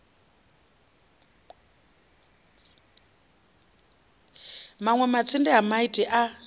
manwe matsinde a maiti a